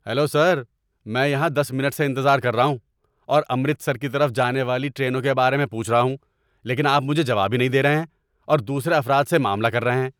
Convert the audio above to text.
Hello sir! میں یہاں دس منٹ سے انتظار کر رہا ہوں اور امرتسر کی طرف جانے والی ٹرینوں کے بارے میں پوچھ رہا ہوں لیکن آپ مجھے جواب ہی نہیں دے رہے ہیں اور دوسرے افراد سے معاملہ کر رہے ہیں۔